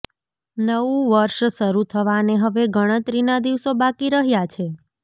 નવું વર્ષ શરૂ થવાને હવે ગણતરીના દિવસો બાકી રહ્યાં છે